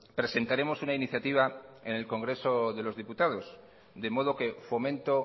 presentaremos una iniciativa en el congreso de los diputados de modo que fomento